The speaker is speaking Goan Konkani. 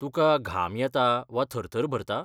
तुका घाम येता वा थरथर भरता ?